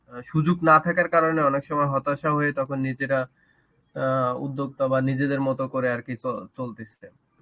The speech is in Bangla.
সুযোগ না থাকার কারণে অনেক সময় হতাশা হয়ে তখন নিজেরা অ্যাঁ উদ্যোক্তা বা নিজেদের মতো করে আর কি চ~ চলতেছে.